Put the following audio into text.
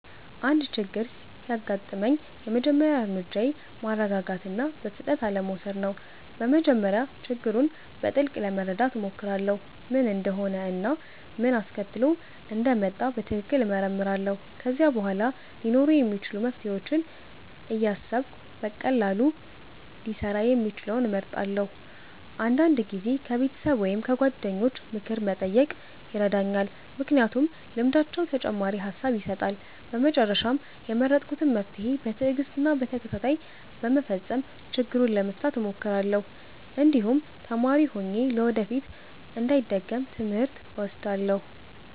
አንድ ችግር ሲያጋጥመኝ የመጀመሪያ እርምጃዬ ማረጋጋት እና በፍጥነት አለመውሰድ ነው። በመጀመሪያ ችግሩን በጥልቅ ለመረዳት እሞክራለሁ፣ ምን እንደሆነ እና ምን አስከትሎት እንደመጣ በትክክል እመረምራለሁ። ከዚያ በኋላ ሊኖሩ የሚችሉ መፍትሄዎችን እያሰብሁ በቀላሉ ሊሰራ የሚችለውን እመርጣለሁ። አንዳንድ ጊዜ ከቤተሰብ ወይም ከጓደኞች ምክር መጠየቅ ይረዳኛል፣ ምክንያቱም ልምዳቸው ተጨማሪ ሐሳብ ይሰጣል። በመጨረሻም የመረጥኩትን መፍትሄ በትዕግስት እና በተከታታይ በመፈጸም ችግሩን ለመፍታት እሞክራለሁ፣ እንዲሁም ተማሪ ሆኜ ለወደፊት እንዳይደገም ትምህርት እወስዳለሁ።